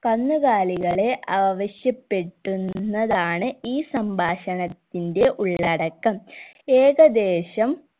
കന്നുകാലികളെ ആവിശ്യപ്പെട് ടുന്നതാണ് ഈ സംഭാഷണത്തിന്റെ ഉള്ളടക്കം ഏകദേശം